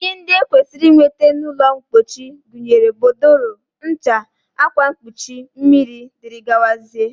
Ihe ndị e kwesịrị inweta n'ụlọmpochi gụnyere bodòrò, ncha, akwamkpochi, mmiri, dg